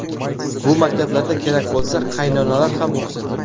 Bu maktablarda kerak bo‘lsa, qaynonalar ham o‘qisin.